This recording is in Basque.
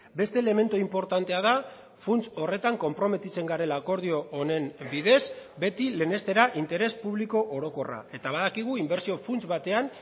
beste elementu inportantea da funts horretan konprometitzen garela akordio honen bidez beti lehenestera interes publiko orokorra eta badakigu inbertsio funts batean